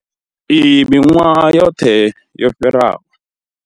Iyi miṅwahani yoṱhe yo fhiraho.